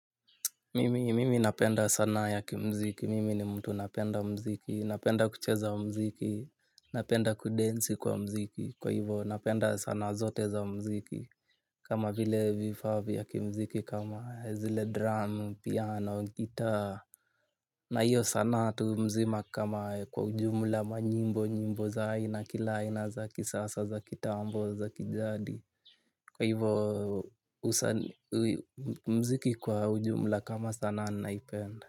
Mimi napenda sana yaki mziki, mimi ni mtu napenda mziki, napenda kucheza mziki, napenda kudansi kwa mziki, kwa hivo napenda sanaa zote za mziki. Kama vile vifaa vya kimziki, kama zile dramu, piano, gitaa, na hiyo sanaa tu mzima kama kwa ujumla manyimbo nyimbo za aina kila aina za kisasa za kitambo za kijadi. Kwa hiyvo mziki kwa ujumla kama sanaa naipenda.